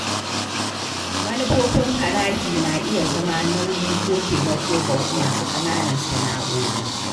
Manufofin haraji na iya zama nauyi ko taimako ga masu ƙananan sana’o’i.